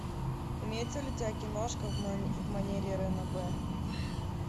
имеется ли у тебя киношка в манере ранобэ